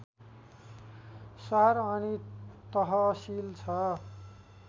शहर अनि तहसील छ